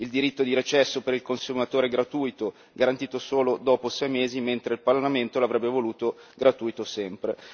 il diritto di recesso per il consumatore è gratuito e garantito solo dopo sei mesi, mentre il Parlamento l'avrebbe voluto gratuito sempre